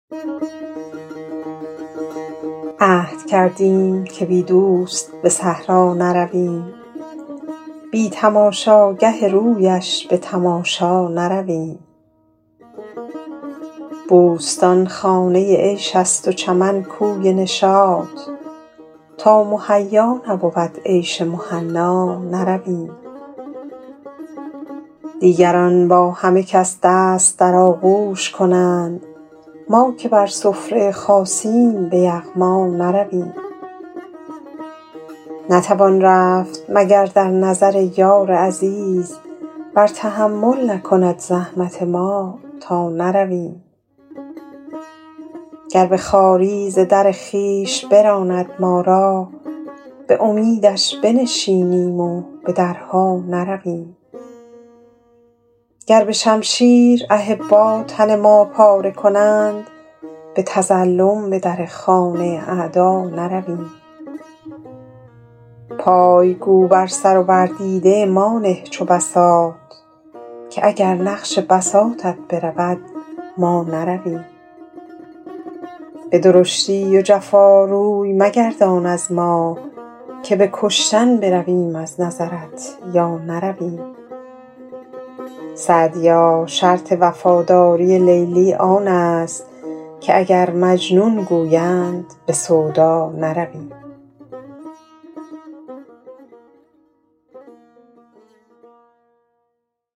عهد کردیم که بی دوست به صحرا نرویم بی تماشاگه رویش به تماشا نرویم بوستان خانه عیش است و چمن کوی نشاط تا مهیا نبود عیش مهنا نرویم دیگران با همه کس دست در آغوش کنند ما که بر سفره خاصیم به یغما نرویم نتوان رفت مگر در نظر یار عزیز ور تحمل نکند زحمت ما تا نرویم گر به خواری ز در خویش براند ما را به امیدش بنشینیم و به درها نرویم گر به شمشیر احبا تن ما پاره کنند به تظلم به در خانه اعدا نرویم پای گو بر سر و بر دیده ما نه چو بساط که اگر نقش بساطت برود ما نرویم به درشتی و جفا روی مگردان از ما که به کشتن برویم از نظرت یا نرویم سعدیا شرط وفاداری لیلی آن است که اگر مجنون گویند به سودا نرویم